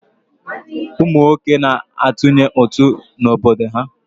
Ụmụ nwoke na-atụnye ụtụ n'obodo ha.